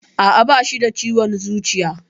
Aa, Bashi da ciwon zuciya.